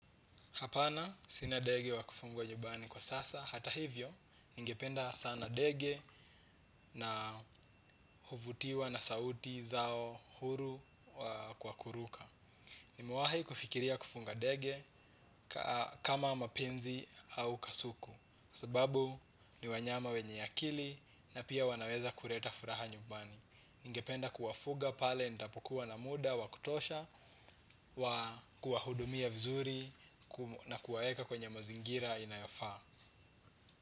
Hapana sina ndege wa kufungwa nyumbani kwa sasa, hata hivyo, ningependa sana ndege na huvutiwa na sauti zao huru kwa kuruka. Nimewai kufikiria kufunga ndege kama mapenzi au kasuku, sababu ni wanyama wenye akili na pia wanaweza kuleta furaha nyubani. Ningependa kuwafuga pale nitapokuwa na muda, wakutosha, wa kuwahudumia vizuri na kuwaeka kwenye mazingira inayofaa.